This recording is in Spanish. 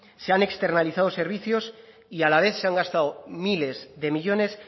se han externalizado servicios y a la vez se han gastado miles de millónes